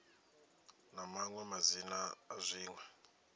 na maṅwe madzina a dziṅwe